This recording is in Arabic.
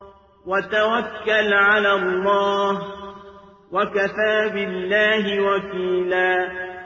وَتَوَكَّلْ عَلَى اللَّهِ ۚ وَكَفَىٰ بِاللَّهِ وَكِيلًا